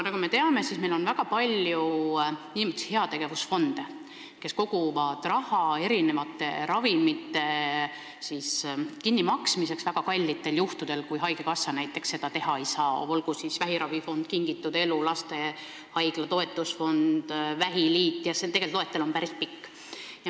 Nagu me teame, meil on väga palju heategevusfonde, kes koguvad raha ravimite kinnimaksmiseks väga kallitel juhtudel, kui haigekassa näiteks seda teha ei saa, olgu siis vähiravifond Kingitud Elu, lastehaigla toetusfond või vähiliit – see loetelu on tegelikult päris pikk.